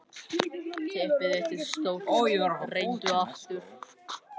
Bíbí, hversu margir dagar fram að næsta fríi?